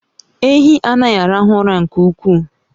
Ehi anaghi arahu ura nke ukwuu